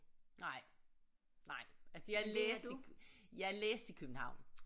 Nej nej altså jeg læste jeg i læste i København